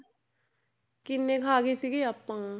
ਕਿੰਨੇ ਖਾ ਗਏ ਸੀਗੇ ਆਪਾਂ,